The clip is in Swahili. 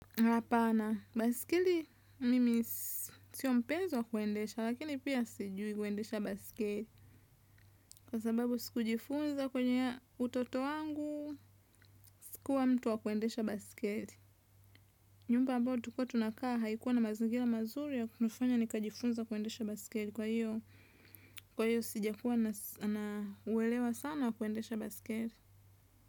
Hapana, baiskeli mimi sio mpenzi wa kuendesha lakini pia sijui kuendesha baskeli. Kwa sababu sikujifunza kwenye utoto wangu. Sikuwa mtu wa kuendesha baskeli. Nyumba ambayo tulikuwa tunakaa haikuwa na mazingira mazuri ya kunifanya nikajifunze kuendesha baisikeli kwa hiyo. Kwa hiyo sijakuwa na uelewa sana wa kuendesha baisikeli.